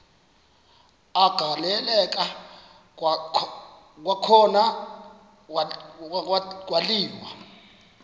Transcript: agaleleka kwakhona kwaliwa